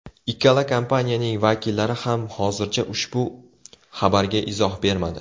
Ikkala kompaniyaning vakillari ham hozircha ushbu xabarga izoh bermadi.